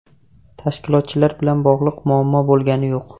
Tashkilotchilar bilan bog‘liq muammo bo‘lgani yo‘q.